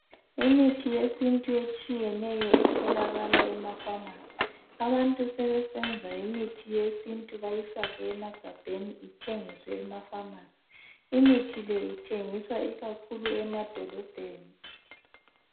Imithi yesintu etshiyeneyo etholakala emafamasi, abantu sebeyenza imithi yesintu beyifake emagabheni ithengiswe emafamasi. Imithi le ithengiswa ikakhulu emadolobheni.